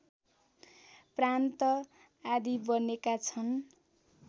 प्रान्त आदी बनेका छन्